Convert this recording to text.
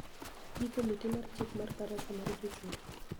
Gi komiti mar chik mar barasa mar jochung`